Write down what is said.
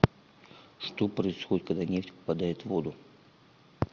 что происходит когда нефть попадает в воду